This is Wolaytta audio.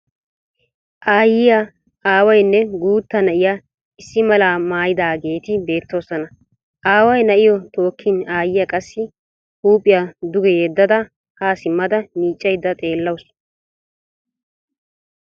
Aayyiya aawayinne guuta na'iya issi malaa mayidaageeti beettoosona. Aaway na'iyo tookkin aayyiya qassi huuphiya duge yeddada haa simmada miiccayidda xeellawusu.